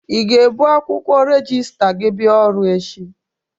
I ga-ebu akwụkwọ rejista gi bịa ọrụ echi?